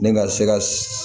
Ne ka se ka